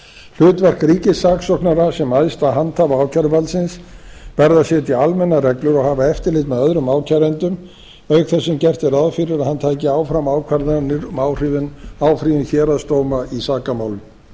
hlutverk ríkissaksóknara sem æðsta handhafa ákæruvaldsins verði að setja almennar reglur og hafa eftirlit með öðrum ákærendum auk þess sem gert er ráð fyrir að hann hafi áfram ákvarðanir um áfrýjun héraðsdóma í sakamálum